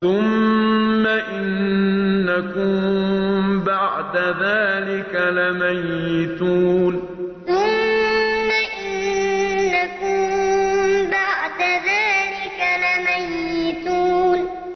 ثُمَّ إِنَّكُم بَعْدَ ذَٰلِكَ لَمَيِّتُونَ ثُمَّ إِنَّكُم بَعْدَ ذَٰلِكَ لَمَيِّتُونَ